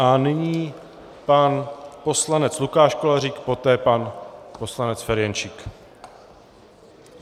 A nyní pan poslanec Lukáš Kolářík, poté pan poslanec Ferjenčík.